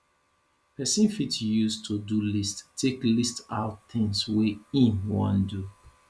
person fit use todo list take list out things wey im wan do